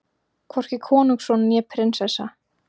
Hvorki konungsson né prinsessa.